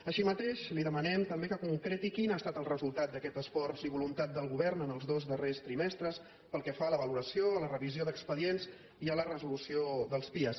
així mateix li demanem també que concreti quin ha estat el resultat d’aquest esforç i voluntat del govern en els dos darrers trimestres pel que fa a la valoració a la revisió d’expedients i a la resolució dels pia